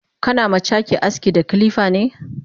Kana ma cake aski da kilifane?